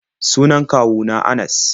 Sunan kwawu na Anas.